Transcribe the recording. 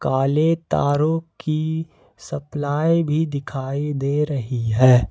काले तारों की सप्लाई भी दिखाई दे रही है।